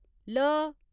ल